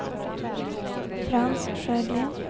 Frans Sjögren